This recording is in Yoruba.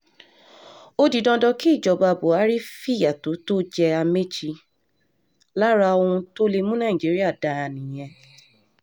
ó di dandan kí ìjọba buhari fìyà tó tó jẹ́ amaechi lára ohun tó lè mú nàìjíríà dáa nìyẹn